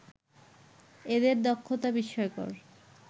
এদের দক্ষতা বিস্ময়কর